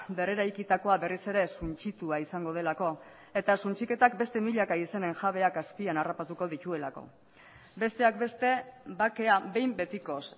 berreraikitakoa berriz ere suntsitua izango delako eta suntsiketak beste milaka izenen jabeak azpian harrapatuko dituelako besteak beste bakea behin betikoz